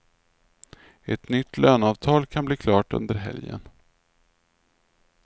Ett nytt löneavtal kan bli klart under helgen.